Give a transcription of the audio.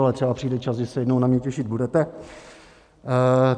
Ale třeba přijde čas, kdy se jednou na mě těšit budete.